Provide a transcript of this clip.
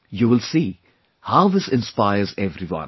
You will see how this inspires everyone